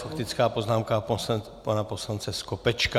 Faktická poznámka pana poslance Skopečka.